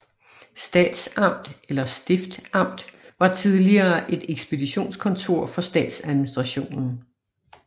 Statsamt eller stiftamt var tidligere et ekspeditionskontor for statsadministrationen